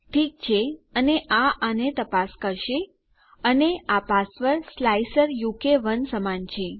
ઠીક છે અને આ આને તપાસ કરશે અને આ પાસવર્ડ સ્લાઇસરુક1 સમાન છે